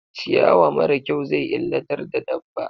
Ciyawa mara kyau zai illatar da dabba.